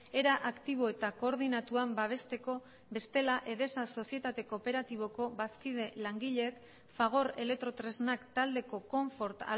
era aktibo eta koordinatuan babesteko bestela edesa sozietate kooperatiboko bazkide langileek fagor elektrotresnak taldeko konfort